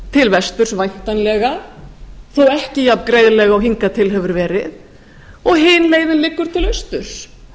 til vesturs væntanlega þó ekki jafngreiðlega og hingað til hefur verið og hin leiðin liggur til austurs